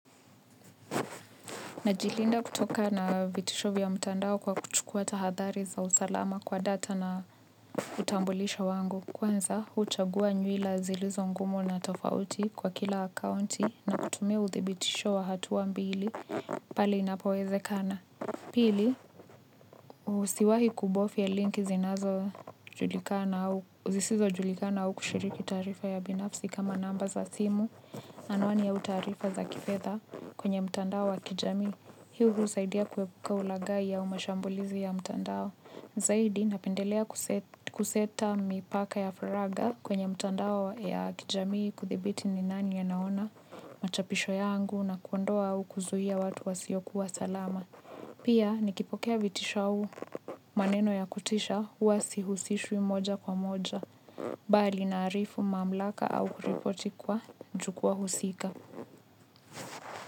Najilinda kutoka na vitisho vya mtandao kwa kuchukuwa tahadhari za usalama kwa data na utambulisho wangu. Kwanza, huchagua nyuila zilizo ngumu na tofauti kwa kila akaunti nakutumia uthibitisho wa hatuwa mbili pali inapowezekana. Pili, usiwahi kubofya linki zinazo zisizojulikana au kushiriki taarifa ya binafsi kama namba za simu na anwani au taarifa za kifedha kwenye mtandao wa kijamii. Hii hutusaidia kuepuka ulaghai au mashambulizi ya mtandao. Zaidi napendelea kuseta mipaka ya faragha kwenye mtandao ya kijamii kudhibiti ni nani anaona machapisho yangu na kuondoa au kuzuia watu wasiokuwa salama. Pia nikipokea vitisho au maneno ya kutisha huwa sihusishwi moja kwa moja. Bali naarifu mamlaka au kuripoti kwa jukwaa husika.